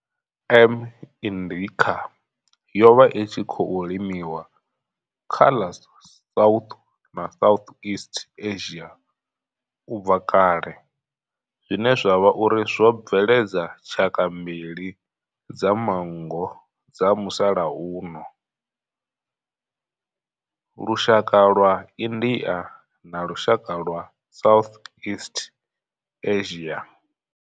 M. indica yo vha i tshi khou limiwa kha ḽa South na Southeast Asia ubva kale zwine zwa vha uri zwo bveledza tshaka mbili dza manngo dza musalauno lushaka lwa India na lushaka lwa Southeast Asia.